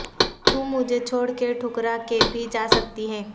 تو مجھے چھوڑ کے ٹھکرا کے بھی جا سکتی ہے